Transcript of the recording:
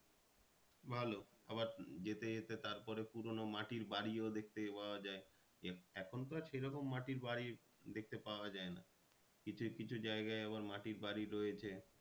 ভালো আবার যেতে যেতে তারপরে পুরোনো মাটির বাড়িও দেখতে পাওয়া যায়। এখন তো আর সে রকম মাটির বাড়ি দেখতে পাওয়া যায় না। কিছু কিছু জায়গায় আবার মাটির বাড়ি রয়েছে।